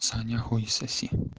саня хуй соси